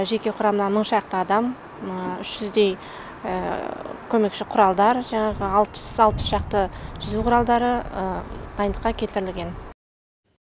жеке құрамнан мың шақты адам үш жүздей көмекші құралдар жаңағы алпыс шақты жүзу құралдары дайындыққа келтірілген